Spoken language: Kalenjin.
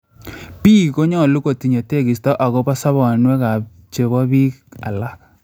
Biik konyolu kotinye tekisto agopo sobenywan ak chepo biik alak